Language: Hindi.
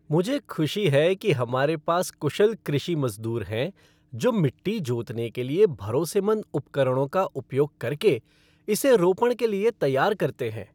मुझे खुशी है कि हमारे पास कुशल कृषि मजदूर हैं जो मिट्टी जोतने के लिए भरोसेमंद उपकरणों का उपयोग करके इसे रोपण के लिए तैयार करते हैं।